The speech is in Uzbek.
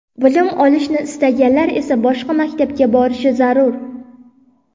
Bilim olishni istaganlar esa boshqa maktabga borishi zarur.